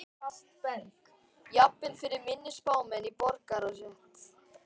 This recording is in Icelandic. Jafnvel fyrir minni spámenn í borgarastétt.